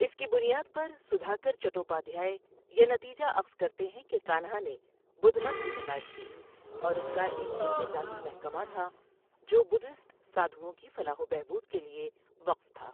اس کی بنیاد پر، سدھاکر چٹوپادھیائے یہ نتیجہ اخذ کرتے ہیں کہ کانہا نے بدھ مت کی حمایت کی اور اس کا ایک انتظامی محکمہ تھا جو بدھسٹ سادھؤوں کی فلاح و بہبود کے لیے وقف تھا۔